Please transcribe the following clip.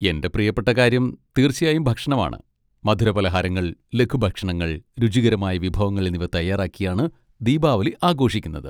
എന്റെ പ്രിയപ്പെട്ട കാര്യം തീർച്ചയായും ഭക്ഷണമാണ്. മധുരപലഹാരങ്ങൾ, ലഘുഭക്ഷണങ്ങൾ, രുചികരമായ വിഭവങ്ങൾ എന്നിവ തയ്യാറാക്കിയാണ് ദീപാവലി ആഘോഷിക്കുന്നത്.